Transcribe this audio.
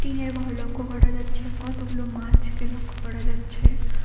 ঘর লক্ষ্য করা যাচ্ছে কতগুলো মাছকে লক্ষ্য করা যাচ্ছে।